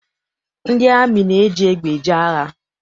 Ndị amị na-eji egbe eje agha.